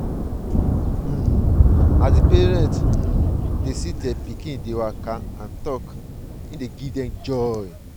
um as di parent um dey see their pikin dey waka and talk e dey bring pride